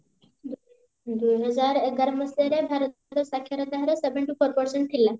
ଦୁଇହଜାର ଏଗାର ମସିହାରେ ଭାରତର ସାକ୍ଷରତା ହାର seven to percent ଥିଲା